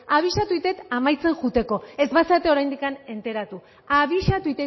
abisatzen dut amaitzen joateko ez bazarete oraindik enteratu abisatu